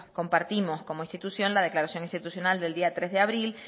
compartimos como institución la declaración institucional del día tres de abril